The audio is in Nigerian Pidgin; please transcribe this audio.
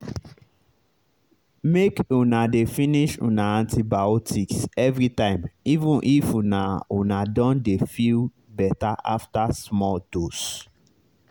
make una dey finish una antibiotics everytime even if una una don dey feel better after small dose